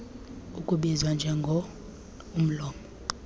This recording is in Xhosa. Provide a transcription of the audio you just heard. ukubizwa njengo omlomo